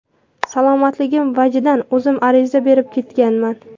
Salomatligim vajidan, o‘zim ariza berib ketganman.